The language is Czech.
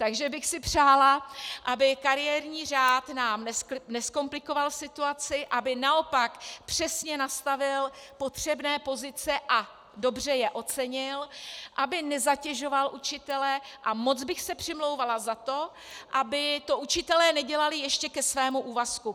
Takže bych si přála, aby kariérní řád nám nezkomplikoval situaci, aby naopak přesně nastavil potřebné pozice a dobře je ocenil, aby nezatěžoval učitele, a moc bych se přimlouvala za to, aby to učitelé nedělali ještě ke svému úvazku.